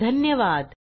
सहभागासाठी धन्यवाद